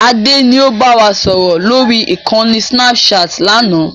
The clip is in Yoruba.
Adé ni ó bá wa sọ̀rọ̀ lórí ìkànnì snapchat láánaà